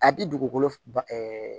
A bi dugukolo ba